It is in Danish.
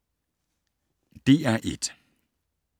DR1